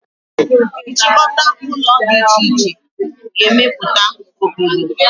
Nchịkọta ụlọ dị iche iche ga-emeputa obodo